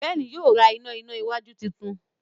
Ben yíò rá iná iná wájú títún